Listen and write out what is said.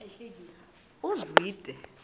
uzwide